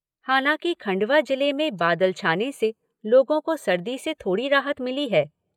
हालांकि खंडवा जिले में बादल छाने से लोगों को सर्दी से थोड़ी राहत मिली है।